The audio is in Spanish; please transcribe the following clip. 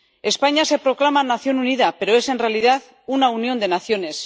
España se proclama nación unida pero es, en realidad, una unión de naciones.